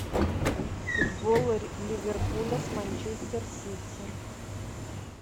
футбол ливерпуля с манчестер сити